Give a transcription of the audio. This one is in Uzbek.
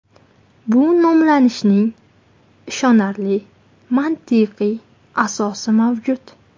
Bu nomlanishning ishonarli mantiqiy asosi mavjud.